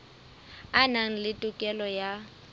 a na le tokelo ya